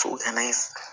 n'an ye